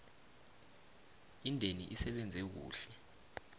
indeni isebenze kuhle